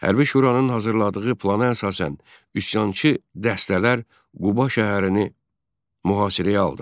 Hərbi şuranın hazırladığı plana əsasən üsyançı dəstələr Quba şəhərini mühasirəyə aldılar.